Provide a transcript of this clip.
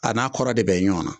A n'a kɔrɔ de bɛ ɲɔgɔnna.